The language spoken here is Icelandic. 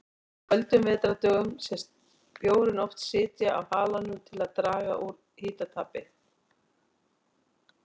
Á köldum vetrardögum sést bjórinn oft sitja á halanum til að draga úr hitatapi.